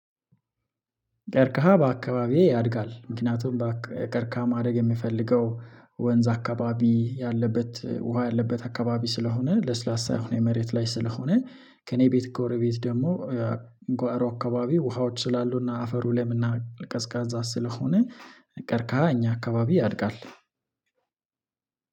ቀርቀሃ በአካባቢዬ ያድጋል። ምክንያቱም በቀርቀሃ ማደግ የምፈልገው ወንዝ አካባቢ ያለበት ውሃ ያለበት አካባቢ ስለሆነ ለስላሳ የሆነ መሬት ላይ ስለሆነ ከእኔ ቤት ጎረቤት ደግሞ ጓሮ አካባቢ ውሃዎች ስላሉና አፈሩ ለምና ቀዝቃዛ ስለሆነ። ቀርቀሃ አካባቢ ያድጋል።